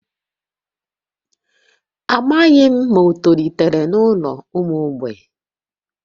Amaghị m ma o tolitere n’ụlọ ụmụ mgbei